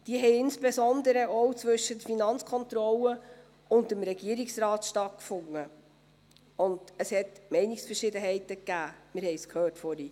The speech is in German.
Diese haben insbesondere auch zwischen der FK und dem Regierungsrat stattgefunden, und es gab Meinungsverschiedenheiten, wir haben es vorhin gehört.